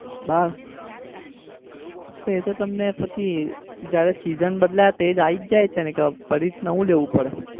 બાર! એ તો તમને પછી જયારે season બદલાય તે આવી જાય છે કે પછી નવું જ લેવું પડે?